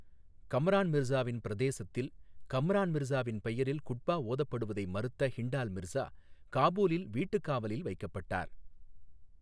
கம்ரான் மிர்சாவின் பிரதேசத்தில், கம்ரான் மிர்சாவின் பெயரில் குட்பா ஓதப்படுவதை மறுத்த ஹிண்டால் மிர்சா காபூலில் வீட்டுக் காவலில் வைக்கப்பட்டார்.